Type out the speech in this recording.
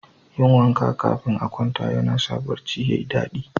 Yin wanka kafin a kwanta yana sa barci ya yi dadi.